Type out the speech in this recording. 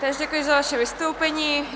Též děkuji za vaše vystoupení.